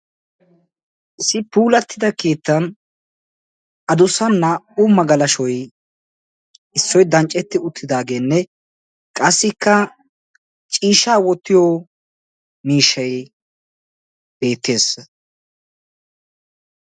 Issi puulatida keettan addussa naa"u magalashoy issoy dancceti uttidaageenne qassikka ciishshaa wottiyo mishaykka beettees.